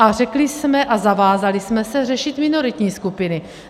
A řekli jsme a zavázali jsme se řešit minoritní skupiny.